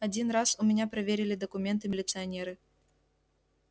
один раз у меня проверили документы милиционеры